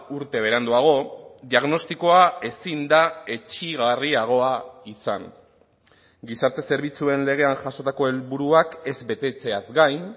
urte beranduago diagnostikoa ezin da etsigarriagoa izan gizarte zerbitzuen legean jasotako helburuak ez betetzeaz gain